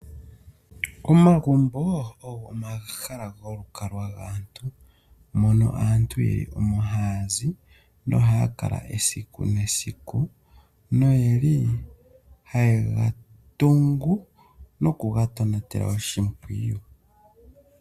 Omagumbo ogo omahala golukalwa gaantu, mono aantu ye li omo haa zi. Nohaya kala esiku nesiku, noye li haye ga tungu noku ga sila oshimpwiyu.